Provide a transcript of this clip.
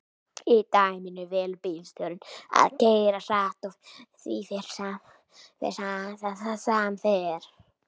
í dæminu velur bílstjórinn að keyra hratt og því fer sem fer